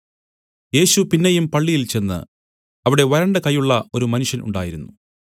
യേശു പിന്നെയും പള്ളിയിൽ ചെന്ന് അവിടെ വരണ്ട കയ്യുള്ള ഒരു മനുഷ്യൻ ഉണ്ടായിരുന്നു